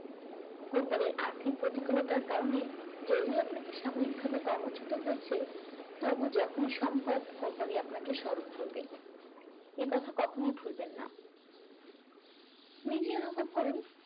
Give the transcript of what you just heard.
company আর্থিক প্রতিফলতার কারণে যদিও আপনাকে সাময়িকভাবে কর্মচুত হয়েছে তবুও যখনই সম্ভব কোম্পানি আপনাকে স্মরণ করবে এ কথা কখনোই ভুলবেন না নিজেই অনুভব করুন